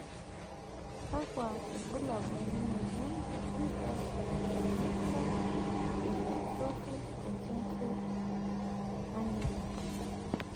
kakua irbulabol lena moyian e f Macular dystrophy, concentric annular?